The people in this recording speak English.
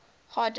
hard disk drive